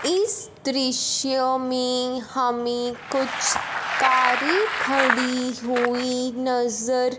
इस दृश्य में हमें कुछ कारें खड़ी हुई नजर--